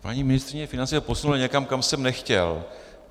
Paní ministryně financí to posunula někam, kam jsem nechtěl.